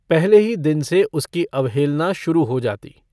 पहले ही दिन से उसकी अवहेलना शुरू हो जाती।